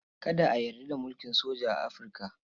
Kada a yarda da mulkin soja a Afirka.